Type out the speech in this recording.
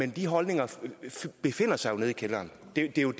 at de holdninger jo befinder sig nede i kælderen det er jo